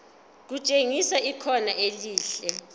kutshengisa ikhono elihle